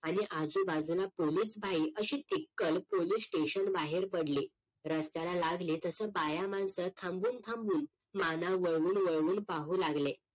आणि आजूबाजूला पोलीस भाई अशी त्रिकल पोलीस स्टेशन बाहेर पडले रस्त्याला लागले तसं बाया माणसं थांबून थांबून माना वळवून वळवून पाहू लागले